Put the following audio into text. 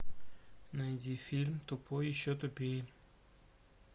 найди фильм тупой и еще тупее